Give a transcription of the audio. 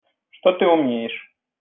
что ты умеешь